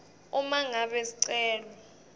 uma ngabe sicelo